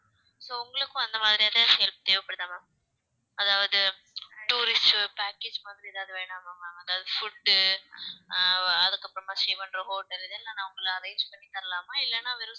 so உங்களுக்கும் அந்த மாதிரி ஏதாவது help தேவைப்படுதா ma'am அதாவது tourist package மாதிரி ஏதாவது வேணுமா ma'am அதாவது food உ அஹ் அதுக்கப்புறமா stay பண்ற hotel இதெல்லாம் நான் உங்களுக்கு arrange பண்ணி தரலாமா இல்லைன்னா வெறும்